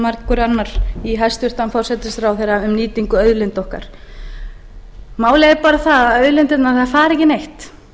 margur annar í hæstvirtur forsætisráðherra um nýtingu auðlinda okkar málið er bara það að auðlindirnar fara ekki neitt